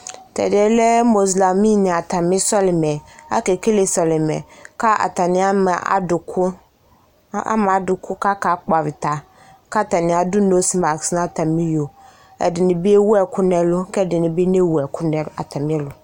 Tɛdeɛ lɛ mozlami ne atame sɔlimɛ Ake lele sɔlima ka atane ama adoko, ama adoko kaka kpɔ avita, ka atane ado nomask no atame iyo, Ɛdene be ewu ɛku nɛlu kɛde ne be newu ɛku nɛ atame ɛlu